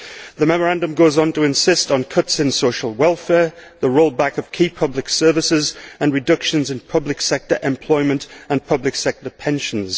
The memorandum goes on to insist on cuts in social welfare, the roll back of key public services, and reductions in public sector employment and public sector pensions.